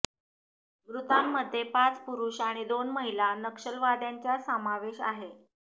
मृतांमध्ये पाच पुरुष आणि दोन महिला नक्षलवाद्यांचा समावेश आहे